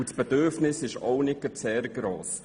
» Das Bedürfnis danach ist nicht gerade sehr gross.